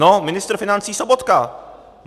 No, ministr financí Sobotka.